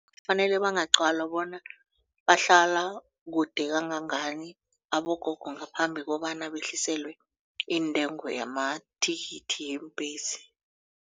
Kufanele bangaqalwa bona bahlala kude kangangani abogogo ngaphambi kobana behliselwe intengo yamathikithi yeembhesi.